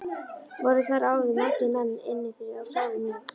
Voru þar áður margir menn inni fyrir sárir mjög.